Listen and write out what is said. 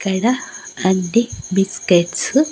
ఇక్కడ బిస్కెట్సు --